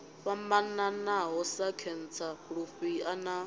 fhambanaho sa khentsa lufhia na